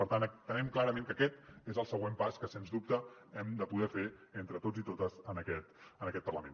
per tant entenem clarament que aquest és el següent pas que sens dubte hem de poder fer entre tots i totes en aquest parlament